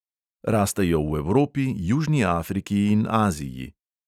Rastejo v evropi, južni afriki in aziji.